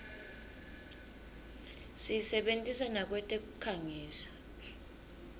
siyisebentisa nakwetekukhangisa